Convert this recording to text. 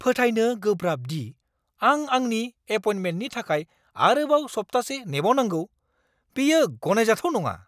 फोथायनो गोब्राब दि आं आंनि एपइन्टमेन्टनि थाखाय आरोबाव सप्तासे नेबावनांगौ। बेयो गनायजाथाव नङा।